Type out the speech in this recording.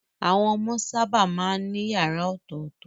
Àwọn ọmọ sábà máa ń ní yàrá ọ̀tọ̀tọ̀.